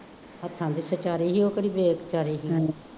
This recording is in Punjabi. ਹੱਥਾਂ ਦੇ ਸੀ ਉਹ ਕਿਹੜੀ